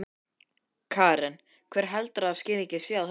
Karen: Hver heldurðu að skýringin sé á þessu?